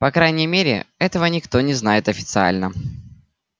по крайней мере этого никто не знает официально